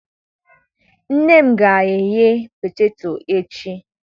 Nne m ga-eghe poteto echi.